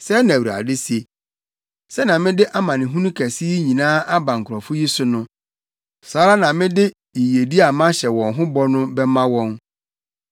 “Sɛɛ na Awurade se: Sɛnea mede amanehunu kɛse yi nyinaa aba nkurɔfo yi so no, saa ara na mede yiyedi a mahyɛ wɔn ho bɔ no bɛma wɔn.